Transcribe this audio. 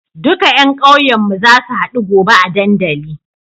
Duka yan ƙauyen mu zasu hadu gobe a dandali